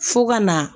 Fo ka na